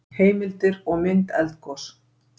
heimildir og mynd eldgos